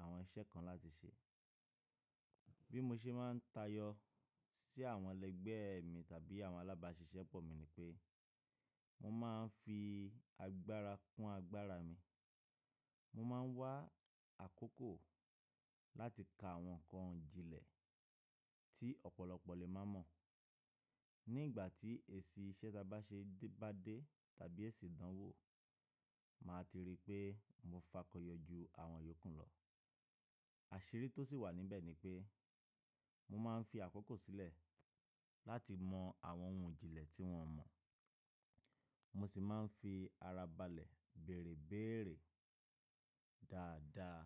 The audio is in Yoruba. àwọn iṣẹ́ kan láti ṣe. Bí mo ṣe máa ń tayọ sí àwọn ẹlẹgbẹ́ mi tàbí àwọn alábáṣiṣẹ́pọ̀ mi ni pé mo máa ń fi agbára kún agbára mi. Mo máa ń wá àkókò láti ka àwọn nǹkan òjìlẹ̀ tí ọ̀pọ̀lọpọ̀ lè má mọ̀. Ní ìgbà tí èsì iṣẹ́ ta bá ṣe bá dé tàbí èsì ìdánwò, màá ti rí pé mo fakọyọ ju àwọn ìyókù lọ. Àṣírí tó sì wà níbẹ̀ ni pé mo máa ń fi àkókò sílẹ̀ láti mọ àwọn ohun òjìlẹ̀ tí wọ́n mọ̀. Mo sì máa ń fi ara balẹ̀ bèrèbéèrè dáadáa.